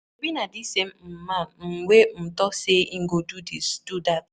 Shebi na dis same um man um wey um talk say he go do dis, do dat.